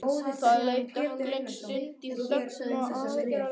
Það leið drykklöng stund í þögn og aðgerðaleysi.